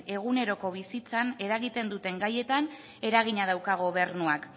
eguneroko bizitzan eragiten duten gaietan eragina dauka gobernuak